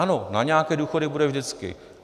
Ano, na nějaké důchody bude vždycky.